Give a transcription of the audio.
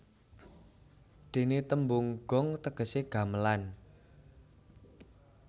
Dene tembung gong tegese gamelan